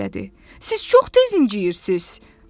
Siz çox tez incıyirsiz.